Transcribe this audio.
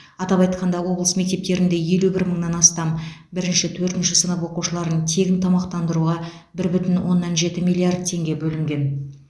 атап айтқанда облыс мектептерінде елу бір мыңнан астам бірінші төртінші сынып оқушыларын тегін тамақтандыруға бір бүтін оннан жеті миллиард теңге бөлінген